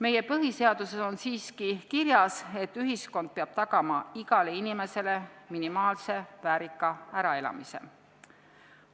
Meie põhiseaduses on siiski kirjas, et ühiskond peab tagama igale inimesele minimaalse väärika äraelamise.